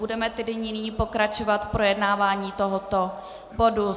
Budeme tedy nyní pokračovat v projednávání tohoto bodu.